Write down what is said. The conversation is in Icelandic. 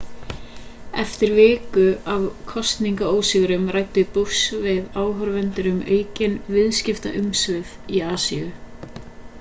eftir viku af kosningaósigrum ræddi bush við áhorfendur um aukin viðskiptaumsvif í asíu